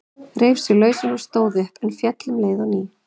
Reif sig lausan og stóð upp, en féll um leið á ný.